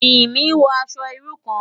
Jimi n wò aṣò irú kán